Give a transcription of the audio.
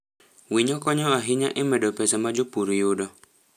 Winyo konyo ahinya e medo pesa ma jopur yudo.